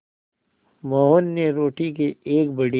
मोहन ने रोटी के एक बड़े